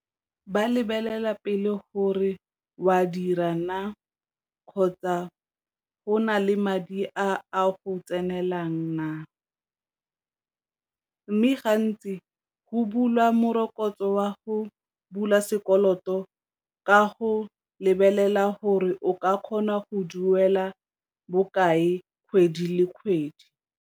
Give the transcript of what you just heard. Ba lebelela pele gore o a dira naa kgotsa go na le madi a go tsenelelang naa, mme ga ntsi go bulwa morokotso wa go bula sekoloto ka go lebelela gore o ka kgona go duela bokae kgwedi le kgwedi.